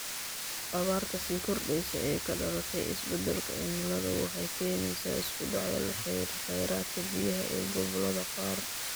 Abaarta sii kordheysa ee ka dhalatay isbedalka cimiladu waxay keenaysaa isku dhacyo la xiriira kheyraadka biyaha ee gobollada qaar.